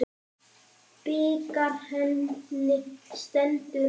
Bikar henni stendur á.